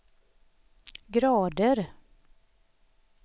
grader